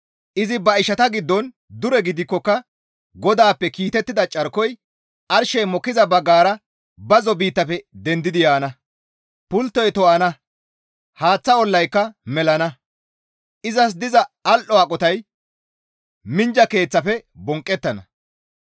Izi ba ishata giddon dure gidikkoka GODAAPPE kiitettida carkoy arshey mokkiza baggara bazzo biittafe dendidi yaana. Pulttoy to7ana; haaththa olaykka melana; izas diza al7o aqotay minjja keeththafe bonqqettana.